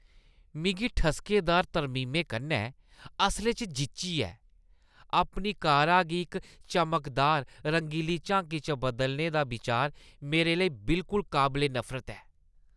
मिगी ठसकेदार तरमीमें कन्नै असलै च जिच्ची ऐ। अपनी कारा गी इक चमकदार, रंगली झांकी च बदलने दा बिचार मेरे लेई बिलकुल काबले नफरत ऐ।